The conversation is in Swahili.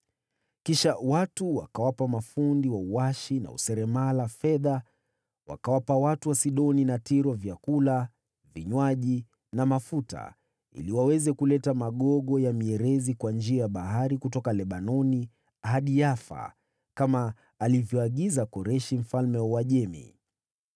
Kisha watu wakawapa mafundi wa uashi na useremala fedha, wakawapa watu wa Sidoni na Tiro vyakula, vinywaji na mafuta ili waweze kuleta magogo ya mierezi kwa njia ya bahari kutoka Lebanoni hadi Yafa, kama alivyoagiza Koreshi mfalme wa Uajemi.